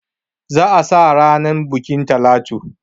Za a sa ranan bukin Talatu.